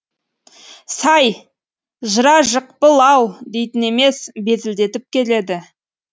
сай жыра жықпыл ау дейтін емес безілдетіп келеді